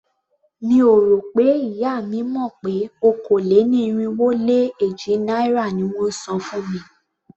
Mi ò rò pé ìyá mi mọ̀ pé okòó-lé-ní-irínwó-lé-éjì náírà ni wón ń san fún mi.